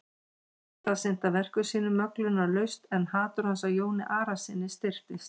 Eftir það sinnti hann verkum sínum möglunarlaust en hatur hans á Jóni Arasyni styrktist.